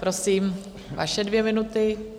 Prosím, vaše dvě minuty.